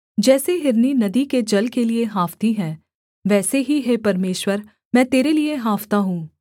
जैसे हिरनी नदी के जल के लिये हाँफती है वैसे ही हे परमेश्वर मैं तेरे लिये हाँफता हूँ